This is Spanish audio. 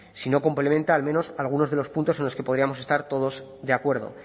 si no complementa al menos algunos de los puntos en los que podríamos estar todos de acuerdo